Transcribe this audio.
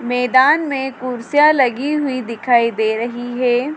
मैदान में कुर्सियां लगी हुई दिखाई दे रही हैं।